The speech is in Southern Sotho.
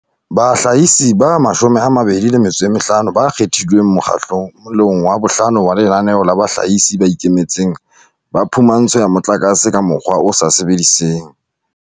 Bahlahisi ba 25 ba kgethilweng mokgahle long wa bohlano wa Lenaneo la Bahlahisi ba Ikemetseng ba Phumantsho ya Motlakase ka Mokgwa o sa Sebediseng